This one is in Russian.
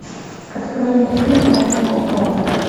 открой мне фильм тайна коко